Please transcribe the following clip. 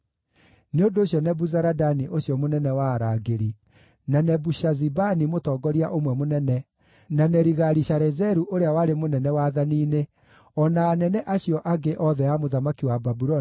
Nĩ ũndũ ũcio Nebuzaradani ũcio mũnene wa arangĩri, na Nebushazibani mũtongoria ũmwe mũnene na Nerigali-Sharezeru ũrĩa warĩ mũnene wathani-inĩ, o na anene acio angĩ othe a mũthamaki wa Babuloni